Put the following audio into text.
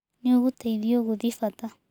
Nĩ ũgũteithio gũthiĩ bata.